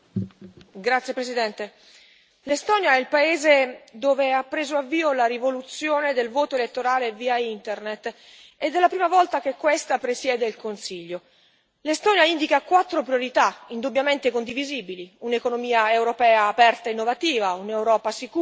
Signora Presidente, onorevoli colleghi, l'Estonia è il paese dove ha preso avvio la rivoluzione del voto elettorale via Internet, ed è la prima volta che questa presiede il Consiglio. L'Estonia indica quattro priorità, indubbiamente condivisibili un'economia europea aperta e innovativa, un'Europa sicura,